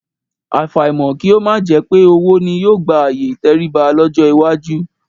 Àfàìmọ̀ kí ó má jẹ pé owó ni yóò gba ààyè ìtẹríba lọ́jọ́ iwájú